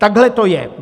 Takhle to je.